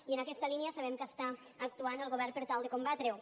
i en aquesta línia sabem que està actuant el govern per tal de combatre ho